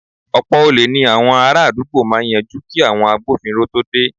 Ọ̀pọ̀ olè ní àwọn ará àdúgbò máa yanjú kí àwọn agbófinró tó dé